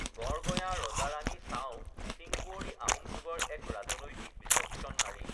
গড় গঞা ৰজা ৰানী চাও চিংকুৱৰী আহোম যুগৰ এক ৰাজনৈতিক বিচক্ষন নাৰী